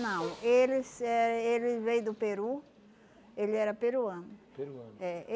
Não, eles eh ele veio do Peru, ele era peruano. Peruano? É.